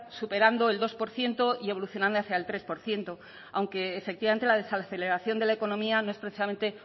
superando el dos por ciento y evolucionando hacia el tres por ciento aunque efectivamente la desaceleración de la economía no es precisamente